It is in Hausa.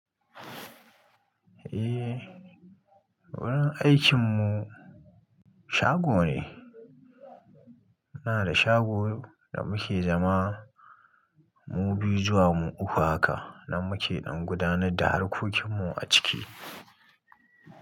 Eh, wurin aikin mu shago ne. Muna da shago da muke zama mu biyu zuwa mu uku haka, nan muke dan gudanar da harkokin mu a ciki.